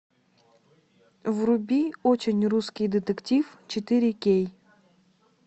вруби очень русский детектив четыре кей